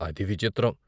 అది విచిత్రం!